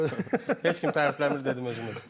Heç kim tərifləmir dedim özümü.